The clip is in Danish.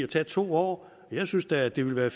tage to år jeg synes da at det ville være